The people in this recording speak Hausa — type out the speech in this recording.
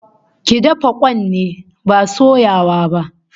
Ki dafa kwan ne, ba soyawa ba